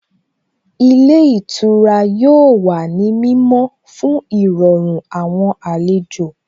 Ilé ìtura yóò wà ní mímọ́ fún Ìrọ̀rùn àwọn àlejò